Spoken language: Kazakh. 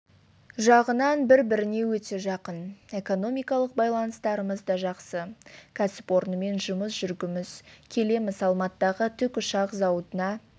жағынан бір-біріне өте жақын экономикалық байланыстарымыз да жақсы кәсіпорнымен жұмыс жүргіміз келеміз алматыдағы тікұшақ зауытына